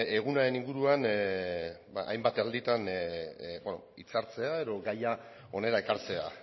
egunaren inguruan hainbat alditan hitzartzea edo gaia hona ekartzea